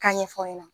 K'a ɲɛfɔ aw ɲɛna